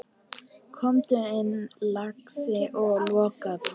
Komdu inn, lagsi, og lokaðu!